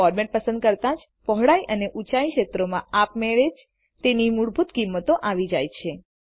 format પસંદ કરતા જપહોળાઈ અને ઊંચાઈના ક્ષેત્રોમાં આપ મેળે જ તેની મૂળભૂત કિંમતો આવી જાય છે